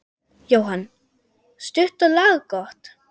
Jóhann: Stutt og laggott?